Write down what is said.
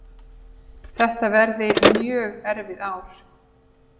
Þetta verði mjög erfið ár